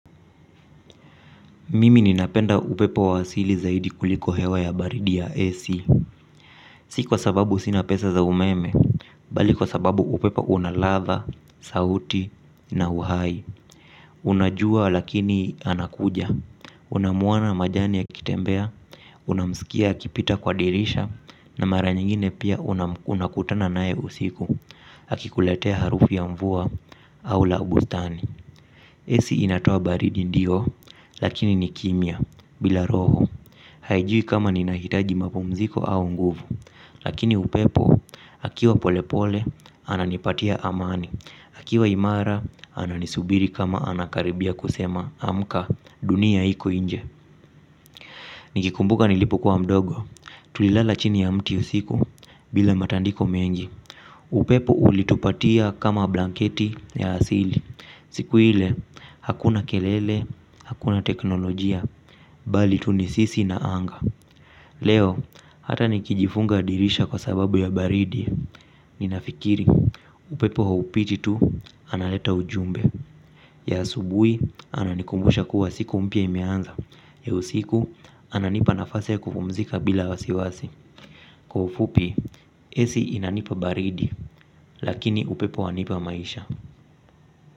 Mimi ninapenda upepo wa asili zaidi kuliko hewa ya baridi ya AC. Si kwa sababu sina pesa za umeme. Bali kwa sababu upepo una ladha, sauti na uhai. Unajua lakini anakuja unamwona majani akitembea. Unamskia akipita kwa dirisha. Na mara nyingine pia unakutana naye usiku. Akikuletea harufu ya mvua au la bustani AC inatoa baridi ndio. Lakini ni kimya bila roho. Haijui kama ninahitaji mapumziko au nguvu. Lakini upepo akiwa pole pole ananipatia amani, akiwa imara ananisubiri kama anakaribia kusema amka dunia iko inje. Nikikumbuka nilipokuwa mdogo tulilala chini ya mti usiku bila matandiko mengi. Upepo ulitupatia kama blanketi ya asili. Siku ile hakuna kelele hakuna teknolojia. Bali tu ni sisi na anga. Leo hata nikijifunga dirisha kwa sababu ya baridi ninafikiri upepo haupiti tu analeta ujumbe ya asubui ananikumbusha kuwa siku mpya imeanza ya usiku ananipa nafasi ya kufumzika bila wasiwasi. Kwa ufupi AC inanipa baridi lakini upepo wanipa maisha.